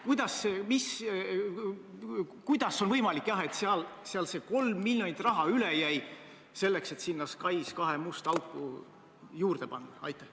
Kuidas on võimalik, et seal see 3 miljonit raha üle jäi, selleks et sinna SKAIS2 musta auku juurde panna?